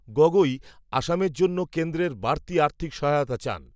গগৈ, অসমের জন্য কেন্দ্রের বাড়তি আর্থিক সহায়তা চান